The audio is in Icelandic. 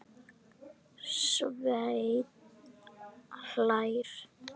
Svenni hlær.